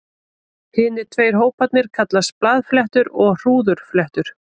Hinir tveir hóparnir kallast blaðfléttur og hrúðurfléttur.